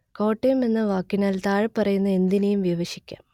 കോട്ടയം എന്ന വാക്കിനാൽ താഴെപ്പറയുന്ന എന്തിനേയും വിവഷിക്കാം